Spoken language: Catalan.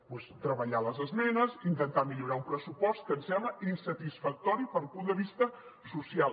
doncs treballar les esmenes i intentar millorar un pressupost que ens sembla insatisfactori des del punt de vista social